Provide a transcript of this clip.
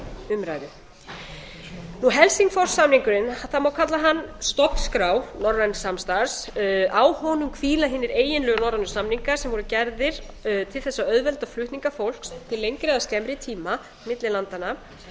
umræðu helsingfors samningurinn það má kalla hann stofnskrá norræns samstarfs á honum hvíla hinir eiginlegu norrænu samningar sem voru gerðir til þess að auðvelda flutninga fólks til lengri eða skemmri tíma milli landanna